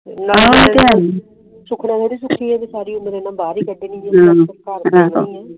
ਸੁਖਣਾ ਥੋਰੀ ਸੁਖੀ ਆ ਕ ਸਾਰੀ ਉਮਰ ਭਾਰ ਹੀ ਕਾਡਨੀ ਆ